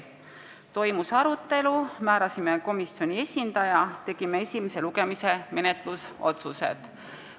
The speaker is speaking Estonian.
Toimus arutelu, määrasime komisjoni esindaja, tegime esimese lugemise menetlusotsused.